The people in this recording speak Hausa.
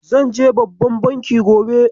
Zan je babban banki gobe.